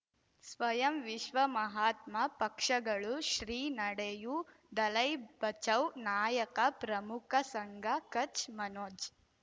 ಸ್ವಯಂ ವಿಶ್ವ ಮಹಾತ್ಮ ಪಕ್ಷಗಳು ಶ್ರೀ ನಡೆಯೂ ದಲೈ ಬಚೌ ನಾಯಕ ಪ್ರಮುಖ ಸಂಘ ಕಚ್ ಮನೋಜ್